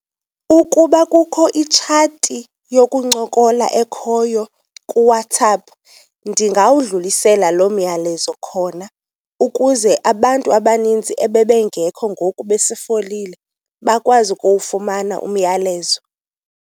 Ukuba kukho itshati yokuncokola ekhoyo kuWhatsApp ndingawudlulisela loo myalezo khona, ukuze abantu abanintsi ebebengekho ngoku besifolile bakwazi ukuwufumana umyalezo.